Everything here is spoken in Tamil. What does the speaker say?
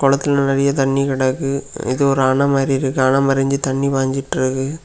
குளத்துல நிறைய தண்ணி கிடக்கு இது ஒரு அண மாறி இருக்கு அண மறஞ்சி தண்ணி பாய்ஞ்சிட்டிருக்கு.